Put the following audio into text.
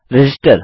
register